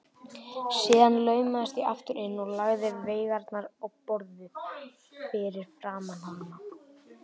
Síðan laumaðist ég aftur inn og lagði veigarnar á borðið fyrir framan hana.